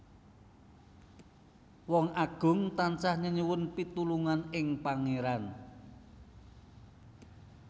Wong Agung tansah nyenyuwun pitulungan ing Pangéran